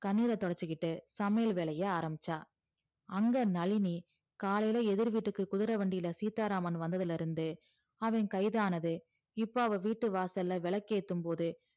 கண்ணீர தொடச்சிகிட்டு சமையல் வேலைய ஆரம்பிச்சா அங்க நளினி காலைல எதிர் வீட்டுக்கு குதுர வண்டில வந்ததுல இருந்தே அவ கைதானது இப்ப அவ வீட்டு வாசல்ல விளக்கு ஏத்தும்போது